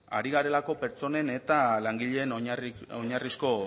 ari garelako pertsonen eta langileen oinarrizko